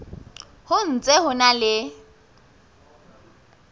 ho ntse ho na le